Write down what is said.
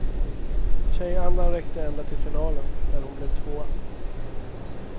Tjejandan räckte ända till finalen, där hon blev tvåa.